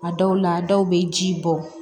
A dɔw la dɔw bɛ ji bɔ